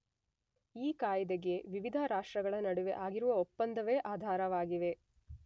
ಈ ಕಾಯಿದೆಗೆ ವಿವಿಧ ರಾಷ್ಟ್ರಗಳ ನಡುವೆ ಆಗಿರುವ ಒಪ್ಪಂದವೇ ಆಧಾರವಾಗಿದೆ.